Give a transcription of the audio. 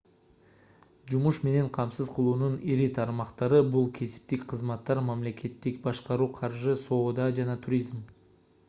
жумуш менен камсыз кылуунун ири тармактары бул кесиптик кызматтар мамлекеттик башкаруу каржы соода жана туризм